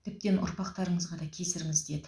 тіптен ұрпақтарыңызға да кесіріңіз тиеді